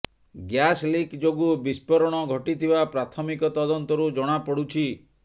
gas leak ଯୋଗୁଁ ବିସ୍ଫୋରଣ ଘଟିଥିବା ପ୍ରାଥମିକ ତଦନ୍ତରୁ ଜଣାପଡୁଛି